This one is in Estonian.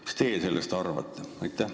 Mis teie sellest arvate?